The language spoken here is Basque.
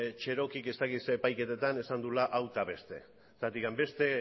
txerokik ez dakit zer epaiketetan esan duela hau eta beste zergatik beste